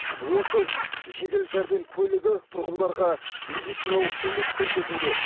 отыз жедел жәрдем көлігі тұрғындарға медициналық көмек көрсетуде